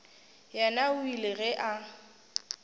yena o ile ge a